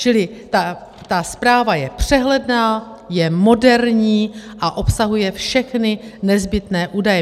Čili ta zpráva je přehledná, je moderní a obsahuje všechny nezbytné údaje.